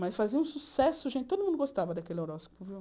Mas fazia um sucesso, gente, todo mundo gostava daquele horóscopo, viu?